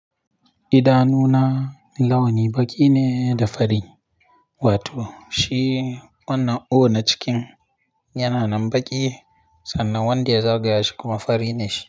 Idanuna launi baƙi ne da fari, wato shi wannan 'O' na cikin yana nan baƙi sannan wanda ya zagaya shi kuma fari ne shi.